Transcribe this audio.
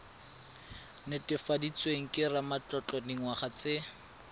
netefaditsweng ke ramatlotlo dingwaga tse